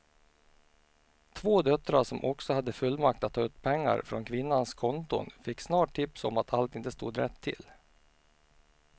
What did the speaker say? Två döttrar som också hade fullmakt att ta ut pengar från kvinnans konton fick snart tips om att allt inte stod rätt till.